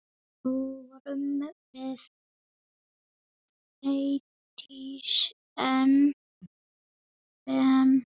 Fórum við Eydís Ben.